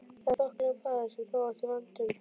Það er þokkalegur faðir sem þú átt í vændum!